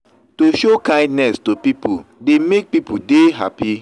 to show kindness to pipo dey make pipo de happy